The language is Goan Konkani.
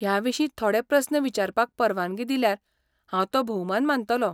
ह्या विशीं थोडे प्रस्न विचारपाक परवानगी दिल्यार हांव तो भौमान मानतलों.